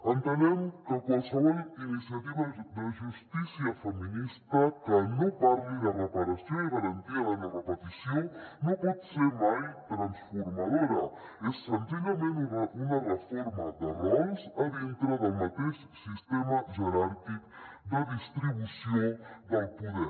entenem que qualsevol iniciativa de justícia feminista que no parli de reparació i garantia de no repetició no pot ser mai transformadora és senzillament una reforma de rols a dintre del mateix sistema jeràrquic de distribució del poder